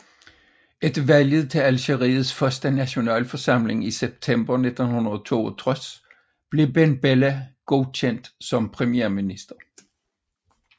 Efter valget til Algeriets første nationalforsamling i september 1962 blev Ben Bella godkendt som premierminister